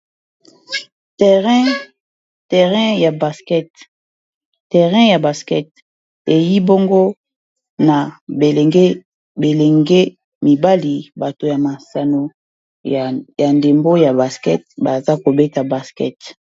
terrain ya basket eyi bongo na bilenge mibali bato ya masano ya ndembo ya basket baza kobeta basket